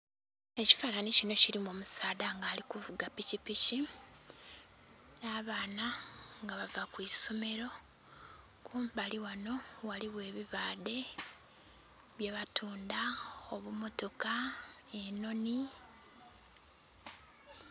Ekifanani kino kirimu omusadha nga alikuvuga pikipiki, nabaana nga bava kwisomero kumbali wano waliwo ebibaadhe byebatunda , obumotoka , enhonhi